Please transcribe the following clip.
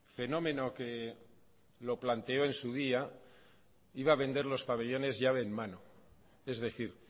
fenómeno que lo planteó en su día iba a vender los pabellones llave en mano es decir